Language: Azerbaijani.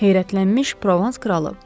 Heyrətlənmiş provans kralı.